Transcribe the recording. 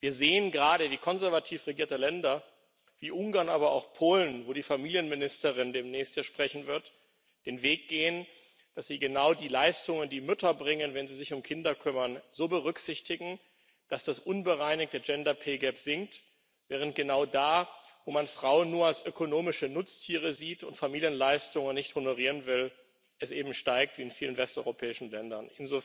Wir sehen gerade, wie konservativ regierte Länder wie Ungarn, aber auch Polen, dessen Familienministerin demnächst hier sprechen wird, den Weg gehen, dass sie genau die Leistungen, die Mütter bringen, wenn sie sich um Kinder kümmern, so berücksichtigen, dass das unbereinigte gender pay gap sinkt, während genau da, wo man Frauen nur als ökonomische Nutztiere sieht und Familienleistungen nicht honorieren will, es eben steigt wie in vielen westeuropäischen Ländern.